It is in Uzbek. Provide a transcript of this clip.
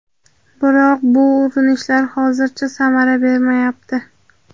Biroq bu urinishlar hozircha samara bermayapti.